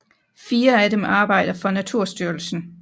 Fire af dem arbejder for Naturstyrelsen